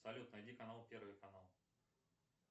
салют найди канал первый канал